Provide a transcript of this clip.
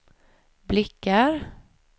blickar